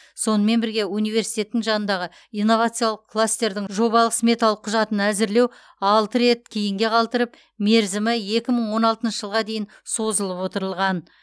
сонымен бірге университеттің жанындағы инновациялық кластердің жобалық сметалық құжатын әзірлеу алты рет кейінге қалдырып мерзімі екі мың он алтыншы жылға дейін созылып отырылған